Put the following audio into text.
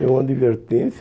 Deu uma advertência.